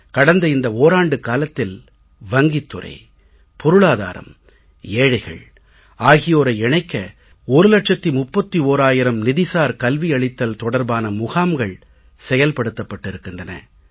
கடந்த இந்த ஓராண்டுக்காலத்தில் வங்கித் துறை பொருளாதாரம் ஏழைகள் ஆகியோரை இணைக்க ஒரு லட்சத்து முப்பத்தோராயிரம் நிதிசார் கல்வி அளித்தல் தொடர்பான முகாம்கள் செயல்படுத்தப்பட்டிருக்கின்றன